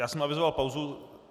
Já jsem avizoval pauzu.